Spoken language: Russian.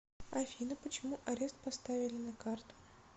афина почему арест поставили на карту